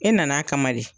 E nan'a kama de